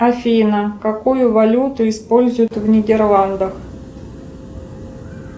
афина какую валюту используют в нидерландах